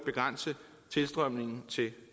uden